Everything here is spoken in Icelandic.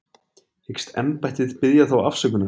Hyggst embættið biðja þá afsökunar?